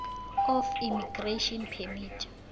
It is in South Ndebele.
of immigration permit